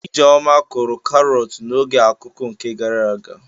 Ijeoma kụrụ karọt na oge akuku nke gara aga.